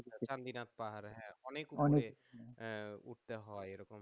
পাহাড়ে অনেক অনেক উপরে উঠতে হয়